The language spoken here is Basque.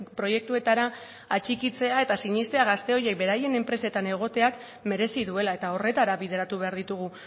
proiektuetara atxikitzea eta sinestea gazte horiek beraien enpresetan egoteak merezi duela eta horretara bideratu behar ditugu